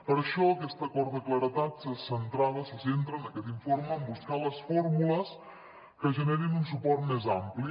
per això aquest acord de claredat se centrava se centra en aquest informe en buscar les fórmules que generin un suport més ampli